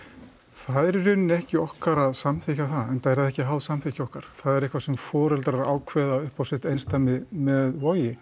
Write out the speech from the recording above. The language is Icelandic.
það er í rauninni ekki okkar að samþykkja það enda er það ekki háð samþykki okkar það er eitthvað sem foreldrar ákveða upp á sitt einsdæmi með Vogi